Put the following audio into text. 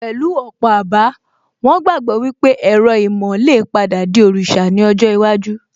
Pẹ̀lú ọ̀pọ̀ àbá, wón gbàgbọ́ wípé ẹ̀rọ ìmọ̀ lè padà di òrìṣà ní ọjọ́ iwájú